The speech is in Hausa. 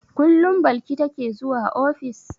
Kullum Balki take zuwa ofis?